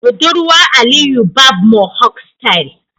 budurwar Aliyu Barb Mohawk style.